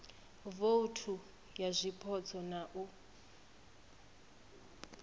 vouthu ya zwipotso na u